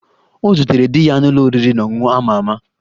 Ọ zutere di ya n'ụlọ oriri na ọṅụṅụ a ma ama